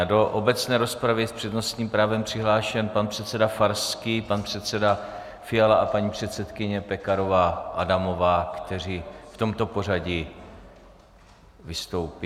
A do obecné rozpravy je s přednostním právem přihlášen pan předseda Farský, pan předseda Fiala a paní předsedkyně Pekarová Adamová, kteří v tomto pořadí vystoupí.